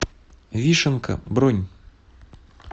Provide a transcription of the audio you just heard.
вишенка бронь